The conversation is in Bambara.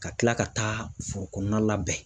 Ka kila ka taa foro kɔnɔna labɛn.